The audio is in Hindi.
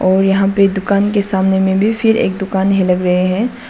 और यहां पे दुकान के सामने में भी फिर एक दुकान ही लग रहे हैं।